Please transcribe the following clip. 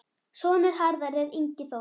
Sonur Harðar er Ingi Þór.